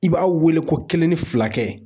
I b'a wele ko kelen ni fila kɛ.